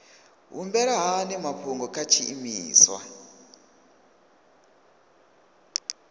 humbela hani mafhungo kha tshiimiswa